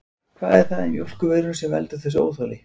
Hvað er það í mjólkurvörum sem veldur þessu óþoli?